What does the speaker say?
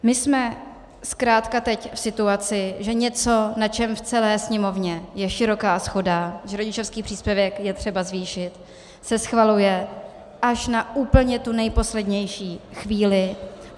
My jsme zkrátka teď v situaci, že něco, na čem v celé Sněmovně je široká shoda, že rodičovský příspěvek je třeba zvýšit, se schvaluje až na úplně tu nejposlednější chvíli.